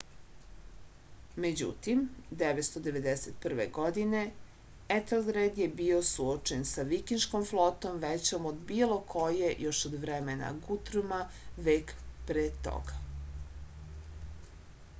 međutim 991. godine etelred je bio suočen sa vikinškom flotom većom od bilo koje još od vremena gutruma vek pre toga